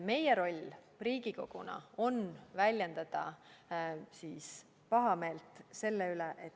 Meie roll Riigikoguna on väljendada pahameelt selle üle.